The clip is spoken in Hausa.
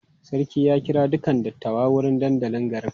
Sarki ya kira dukan dattawa zuwa dandalin garin.